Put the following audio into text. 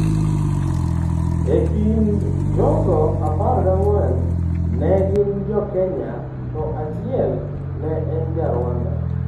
E kind jogo, 14 ne gin Jo Kenya to achiel ne en Ja Rwanda.